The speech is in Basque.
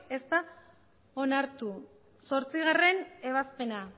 ez da onartu zortzigarrena ebazpena